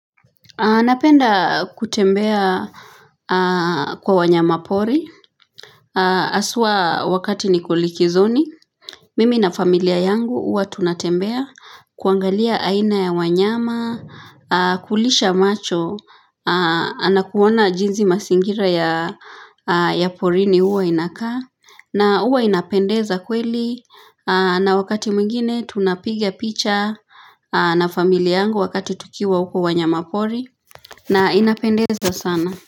Napenda kutembea kwa wanyama pori. Haswa wakati niko likizoni Mimi na familia yangu huwa tunatembea. Kuangalia aina ya wanyama. Kulisha macho. Nakuona jinsi ya mazingira ya porini huwa inakaa. Na uwa inapendeza kweli. Na wakati mwingine tunapigia picha na familia yangu wakati tukiwa uko wanyama pori. Na inapendeza sana.